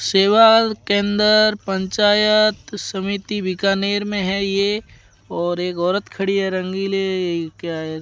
सेवा केंद्र पंचायत समिति बीकानेर में है ये और एक औरत खड़ी है रंगीले क्या है?